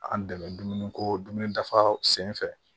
An dɛmɛ dumuni ko dumuni dafa sen fɛ